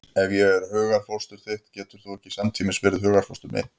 Ef ég er hugarfóstur þitt getur þú ekki samtímis verið hugarfóstur mitt.